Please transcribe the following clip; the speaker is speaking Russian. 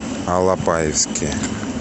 алапаевске